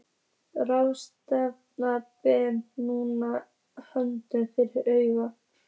Ráðleysislega ber hún hönd fyrir augu.